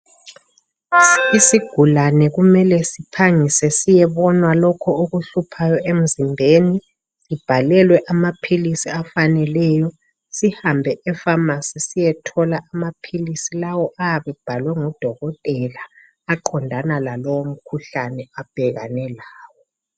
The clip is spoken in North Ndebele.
Isigulane kumele siphangise siyebonwa lokhu okuhluphayo emzimbeni. Sibhalelwe amaphilisi afaneleyo, sihambe efamasi siyethola amaphilisi lawo ayabe ebhalwe ngudokotela. Aqondane lalowo mkhuhlane abhekane lawo.